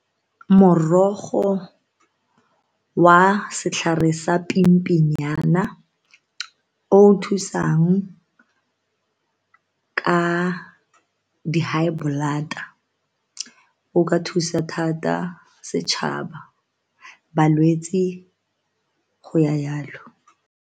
Morogo wa setlhare sa pimpinyana o o thusang ka di-high blood-a o ka thusa thata setšhaba, balwetse, go ya jalo.